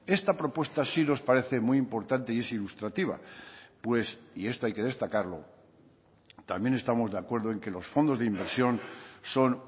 esta propuesta sí nos parece muy importante y es ilustrativa pues y esto hay que destacarlo también estamos de acuerdo en que los fondos de inversión son